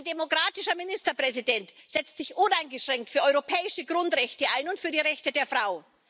Ein demokratischer Ministerpräsident setzt sich uneingeschränkt für europäische Grundrechte ein und für die Rechte der Frau.